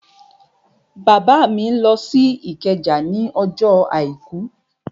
Bàbá mi lọ sí Ìkẹjà ní ọjọ́ àìkú